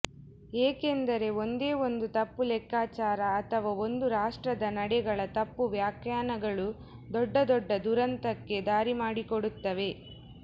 ಏಕೆಂದರೆ ಒಂದೇ ಒಂದು ತಪ್ಪುಲೆಕ್ಕಾಚಾರ ಅಥವಾ ಒಂದು ರಾಷ್ಟ್ರದ ನಡೆಗಳ ತಪ್ಪುವ್ಯಾಖ್ಯಾನಗಳು ದೊಡ್ಡ ದೊಡ್ಡ ದುರಂತಕ್ಕೆ ದಾರಿಮಾಡಿಕೊಡುತ್ತವೆೆ